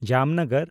ᱡᱟᱢᱱᱚᱜᱚᱨ